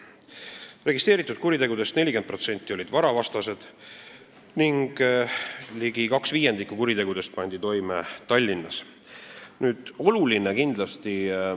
Registreeritud kuritegudest 40% olid varavastased ning ligi kaks viiendikku kuritegudest pandi toime Tallinnas.